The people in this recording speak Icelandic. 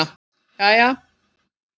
jæja